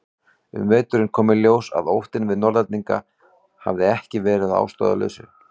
Um veturinn kom í ljós að óttinn við Norðlendinga hafði ekki verið ástæðulaus.